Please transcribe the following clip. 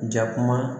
Jakuma